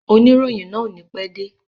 Oníròyìn náà o ní pẹ́ dé.